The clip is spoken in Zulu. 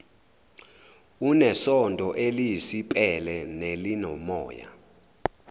unesondo eliyisipele nelinomoya